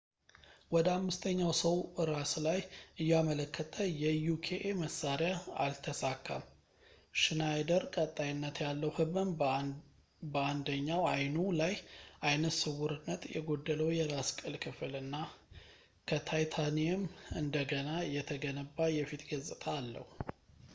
ወደ አምስተኛው ሰው ራስ ላይ እያመለከተ የ uka መሣሪያ አልተሳካም። ሽናይደር ቀጣይነት ያለው ህመም ፣ በአንደኛው አይኑ ላይ ዓይነ ስውርነት ፣ የጎደለው የራስ ቅል ክፍል እና ከታይታኒየም እንደገና የተገነባ የፊት ገጽታ አለው